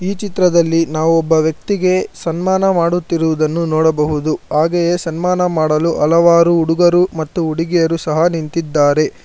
ಚಿತ್ರದಲ್ಲಿ ನಾವು ಒಬ್ಬ ವ್ಯಕ್ತಿಗೆ ಸನ್ಮಾನ ಮಾಡುತ್ತಿರುವುದನ್ನು ನೋಡಬಹುದು ಹಾಗೆಯೇ ಸನ್ಮಾನ ಮಾಡಲು ಹಲವಾರು ಹುಡುಗರು ಮತ್ತು ಹುಡುಗಿಯರು ಸಹ ನಿಂತಿದ್ದಾರೆ.